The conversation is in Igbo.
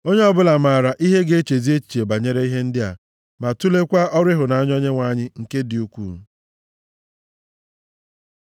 Onye ọbụla maara ihe ga-echezi echiche banyere ihe ndị a, ma tuleekwa ọrụ ịhụnanya Onyenwe anyị nke dị ukwuu.